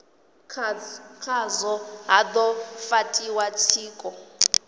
khazwo ha do fhatiwa tshiko